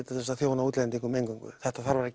til að þjóna útlendingum þetta þarf að